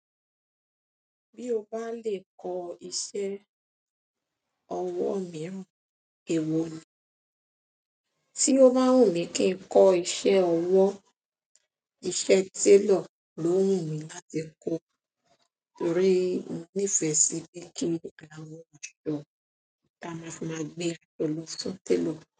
Bí o bá lè kọ iṣẹ́ ọwọ́ mìíràn, èwo ni? Ti o bá wù mí kí n kọ́ iṣẹ́ ọwọ́, iṣẹ́ tailor ló wù mí láti kọ́, torí mo nífẹ̀ẹ́ sí bí kí àwọn àwòrán ka máa fi maa gbé lọ só télọ̀